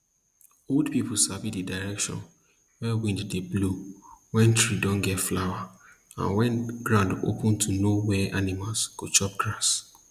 old pipu sabi di direction wey wind dey blow wen tree don get flower and wen ground open to know where animals go chop grass